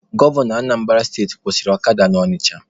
Gọvanọ Anambara steti kwụsịrị ọkada na Ọnịcha